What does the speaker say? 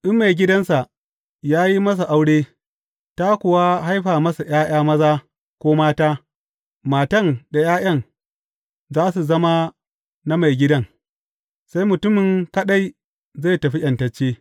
In maigidansa ya yi masa aure, ta kuwa haifa masa ’ya’ya maza ko mata, matan da ’ya’yan, za su zama na maigidan, sai mutumin kaɗai zai tafi ’yantacce.